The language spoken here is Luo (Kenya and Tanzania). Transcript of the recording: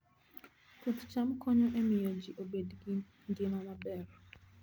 Puoth cham konyo e miyo ji obed gi ngima maber